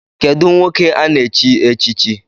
Kedụ nwoke ana-chi echichi?